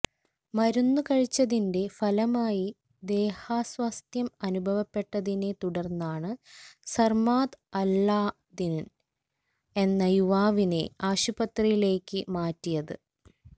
മരുന്ന് കഴിച്ചതിന്റെ ഫലമായി ദേഹാസ്വാസ്ഥ്യം അനുഭവപ്പെട്ടതിനെ തുടര്ന്നാണ് സര്മാദ് അല്ലാദിന് എന്ന യുവാവിനെ ആശുപത്രിയിലേക്ക് മാറ്റിയത്